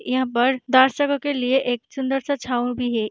यहाँ पर दर्शकों के लिए एक सुंदर-सा छाव भी है।